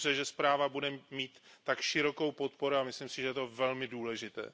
Je dobře, že zpráva bude mít tak širokou podporu, a myslím si, že je to velmi důležité.